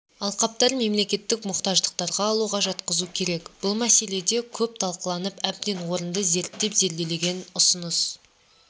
алқаптар мемлекеттік мұқтаждықтарға алуға жатқызу керек бұл мәселе де көп талқыланып әбден орынды зерттеліп-зерделенген ұсыныс